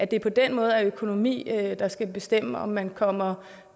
det på den måde er økonomi der skal bestemme om man kommer